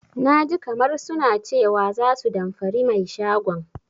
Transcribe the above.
Naji kamar suna cewa za su damfari mai shagon.